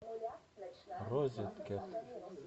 розеткед